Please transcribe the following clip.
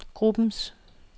gruppens